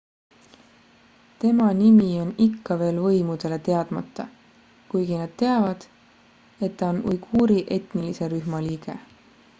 tema nimi on ikka veel võimudele teadmata kuigi nad teavad et ta on uiguuri etnilise rühma liige